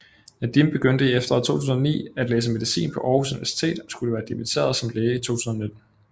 Nadim begyndte i efteråret 2009 at læse medicin på Aarhus Universitet og skulle være dimmiteret som læge i 2019